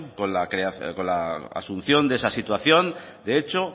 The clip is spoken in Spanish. con la asunción de esa situación de hecho